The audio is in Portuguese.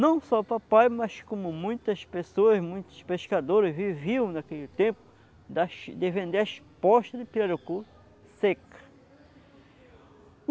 Não só papai, mas como muitas pessoas, muitos pescadores viviam naquele tempo, das de vender as postas de pirarucu seca.